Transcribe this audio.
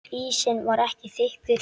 Ísinn var ekki þykkur.